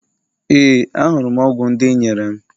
Ee, ahụrụ m ọgwụ ndị i nyere m.